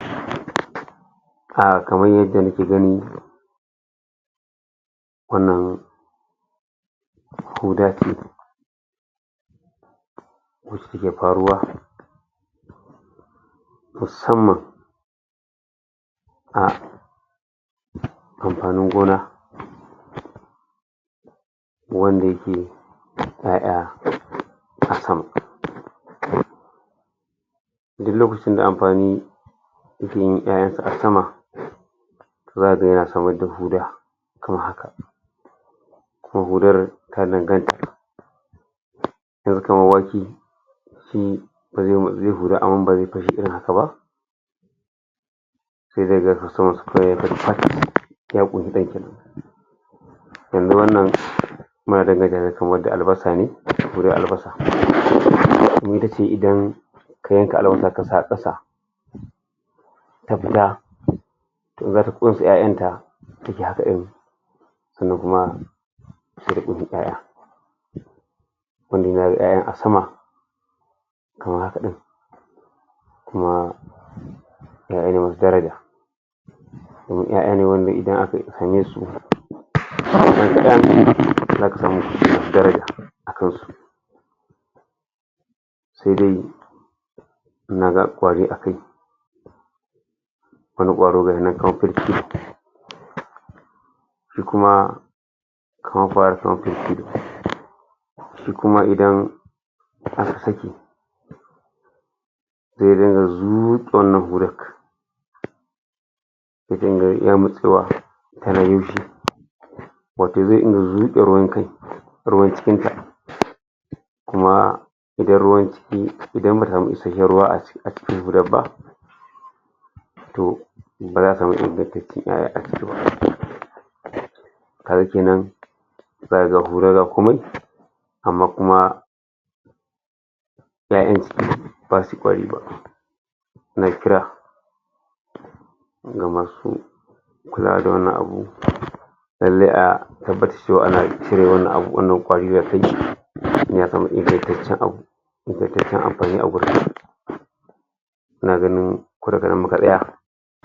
Ah... kamar yadda nake gani, wannan hudar da shike faruwa musamman a amfanin gona wanda shi 'ya'ya duk lokacin da amfani 'ya'yan sa a sama zaka gan yana da huda kamar haka ko hudar kaga kamar wasu su, suyi huda amma ba zai irin haka ba sai da kaga kawai Yanzu wannan albasa ne, gudan albasa idan ga wanda aka sa a kasa zaka ko wace 'ya'yan ka sannan kuma 'ya'ya yayi 'ya'yan a sama, kamar haka din kuma 'ya'ya masu daraja. Kaman 'ya'ya ne wanda idan aka su zaka samu daraja akan su. Daidai ne akan su wani kwaro ga da kuma Sai kuma idan Sai dai yanzu, wannan bulok wato zai iya zuke ruwan kashi ruwan cikin ta kuma ruwan ciki samu isheshen ruwa a ciki, a cikin hudar ba, to baza komai amma kuma, 'ya'yen ba su kwari ba. noma kula ga wannan abu lallai a ana cire wannan abubuwan, wannan kwari a kai san amfanin abu. Ina ganin, ko daga nan muka tsaya